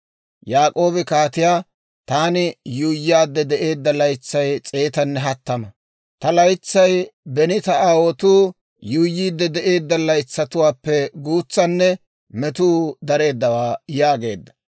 Yaak'oobi kaatiyaa, «Taani yuuyyaadde de'eedda laytsay s'eetanne hattama; ta laytsay beni ta aawotuu yuuyyiidde de'eedda laytsatuwaappe guutsanne metuu dareeddawaa» yaageedda.